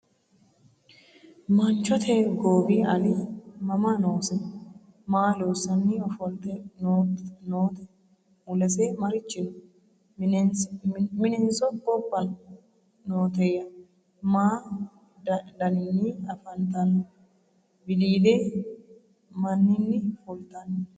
Manchote goowi Ali mama noose? Maa loosanni offolitte nootte? Mulese marichi noo? Minenso gobba nooteya? Ma danninni afanttanno? Wiliille maninni fulittinno?